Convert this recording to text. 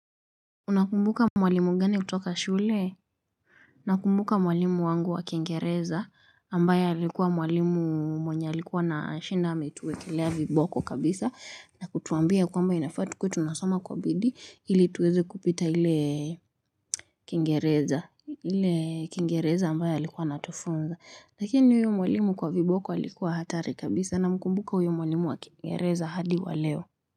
Unakumbuka mwalimu gani kutoka shule? Nakumbuka mwalimu wangu wa kingereza ambaye alikuwa mwalimu mwenye alikuwa na shinda ametuwekelea viboko kabisa na kutuambia kwamba inafaa tukuwe tunasoma kwa bidii ili tuweze kupita hile kingereza hile kingereza ambaye alikuwa anatufunza lakini huyu mwalimu kwa viboko alikuwa hatari kabisa na mkumbuka huyo mwalimu wa kingereza hadi waleo.